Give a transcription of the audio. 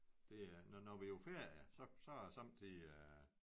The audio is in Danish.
Det er når når vi på ferie så så sommetider